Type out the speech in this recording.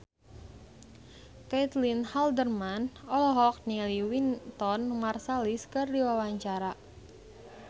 Caitlin Halderman olohok ningali Wynton Marsalis keur diwawancara